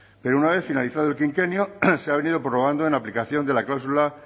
pero una vez finalizado el quinquenio se ha venido prorrogando en aplicación de la cláusula